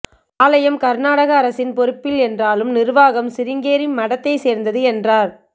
ஆலயம் கர்நாடக அரசின் பொறுப்பில் என்றாலும் நிர்வாகம் சிருங்கேரி மடத்தைச் சேர்ந்தது என்றார்